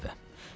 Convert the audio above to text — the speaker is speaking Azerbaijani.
Gəldim evə.